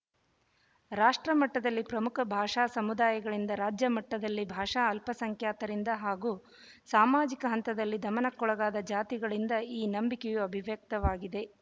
ರಾಷ್ಟ್ರ ಮಟ್ಟದಲ್ಲಿ ಪ್ರಮುಖ ಭಾಷಾ ಸಮುದಾಯಗಳಿಂದ ರಾಜ್ಯ ಮಟ್ಟದಲ್ಲಿ ಭಾಷಾ ಅಲ್ಪಸಂಖ್ಯಾತರಿಂದ ಹಾಗೂ ಸಾಮಾಜಿಕ ಹಂತದಲ್ಲಿ ದಮನಕ್ಕೊಳಗಾದ ಜಾತಿಗಳಿಂದ ಈ ನಂಬಿಕೆಯು ಅಭಿವ್ಯಕ್ತವಾಗಿದೆ